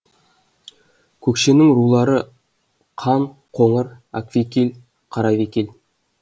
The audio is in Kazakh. көкшенің рулары қан қоңыр аквекил қаравекил